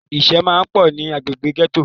Ìṣẹ́ máa pọ̀ ní agbègbè gẹ́tò.